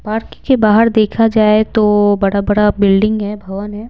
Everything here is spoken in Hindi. पार्क के बाहर देखा जाए तो बड़ा-बड़ा बिल्डिंग है भवन है।